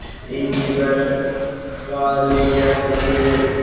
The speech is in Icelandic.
Ingibert, hvað er mikið eftir af niðurteljaranum?